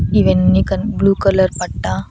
ఇవన్నీ కన్ blue colour పట్టా--